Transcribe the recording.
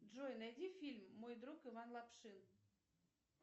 джой найди фильм мой друг иван лапшин